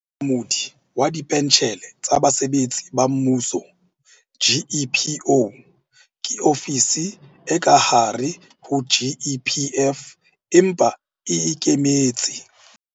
Monamodi wa Dipentjhele tsa Basebetsi ba Mmuso, GEPO ke ofisi e ka hare ho GEPF, empa e e ikemetse.